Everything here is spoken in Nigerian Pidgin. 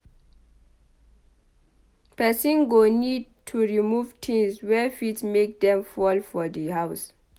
Person go need to remove things wey fit make dem fall for di house